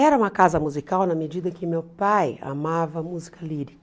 Era uma casa musical na medida que meu pai amava música lírica.